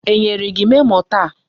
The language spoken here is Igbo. E nyere gị memo taa?